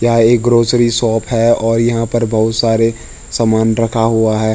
यहाँ एक grocery shop है और यहाँ पर बहोत सारे समान रखा हुआ है।